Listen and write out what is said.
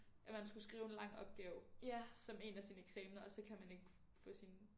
At man skulle skrive en lang opgave som en af sine eksaminer og så kan man ikke få sine